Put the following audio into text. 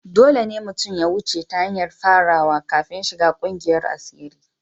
Dole ne mutum ya wuce ta hanyar farawa kafin shiga kungiyar asiri.